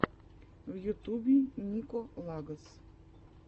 в ютубе нико лагос